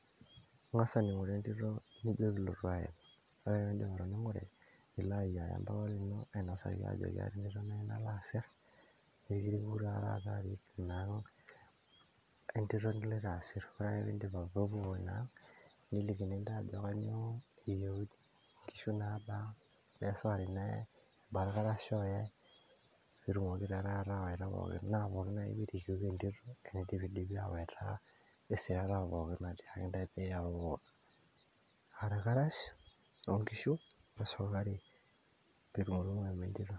ing'as aning'ore entito nijo piilotu aya, ore ake pindip atoning'ore nilo ayiaya mpapa lino ainosaki ajo keeta entito nayieu nalo asirr pekiriku taa taata arik ina ang' entito nilloito asirr ore ake pindip, piipuopuo ina ang' nelikini intae ajo kanyio eyieuni, nkishu nabaa kebaa esukari nayae, kebaa irkarash oyai pitumokiki taa taata awaita pookin naa pookin ake piirikuku tenindipidipi awaita isireta pookin naatiakaki intae piyauwu aa irkarash onkishu wesukari pitumutumu awu entito.